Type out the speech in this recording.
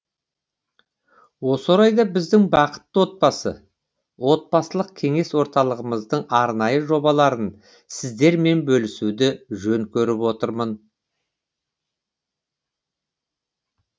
осы орайда біздің бақытты отбасы отбасылық кеңес орталығымыздың арнайы жобаларын сіздермен бөлісуді жөн көріп отырмын